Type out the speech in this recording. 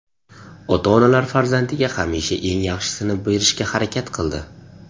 Ota-onalar farzandiga hamisha eng yaxshisini berishga harakat qildi.